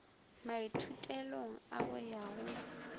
maithutelong a go ya go